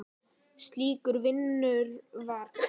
Slíkur vinur var Kolla.